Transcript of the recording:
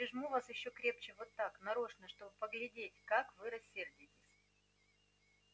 я прижму вас ещё крепче вот так нарочно чтобы поглядеть как вы рассердитесь